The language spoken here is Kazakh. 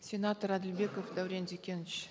сенатор әділбеков дәурен зекенович